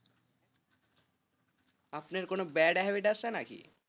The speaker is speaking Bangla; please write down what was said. আপনার কোন bad habit আছে নাকি?